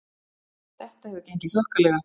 Þetta hefur gengið þokkalega